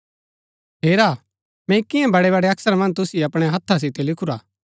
हेरा मैंई कियां बड़ै बड़ै अक्षरा मन्ज तुसिओ अपणै हत्था सितै लिखुरा हा